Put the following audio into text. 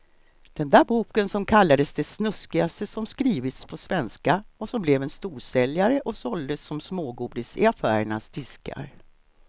Den där boken som kallades det snuskigaste som skrivits på svenska och som blev en storsäljare och såldes som smågodis i affärernas diskar.